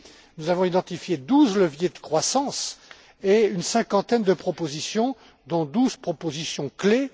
seulement. Nous avons identifié douze leviers de croissance et une cinquantaine de propositions, dont douze propositions